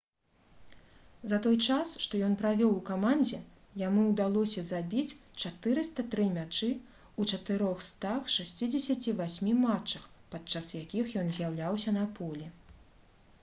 за той час што ён правёў у камандзе яму ўдалося забіць 403 мячы ў 468 матчах падчас якіх ён з'яўляўся на полі